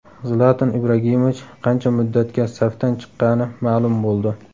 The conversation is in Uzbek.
Zlatan Ibragimovich qancha muddatga safdan chiqqani ma’lum bo‘ldi.